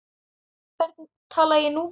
Hvern tala ég nú við?